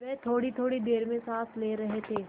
वह थोड़ीथोड़ी देर में साँस ले रहे थे